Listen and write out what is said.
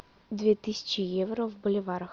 две тысячи евро в боливарах